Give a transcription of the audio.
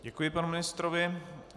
Děkuji panu ministrovi.